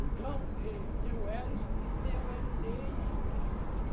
Então, eh, tem o Ellison e tem o Elineide, que é a menina.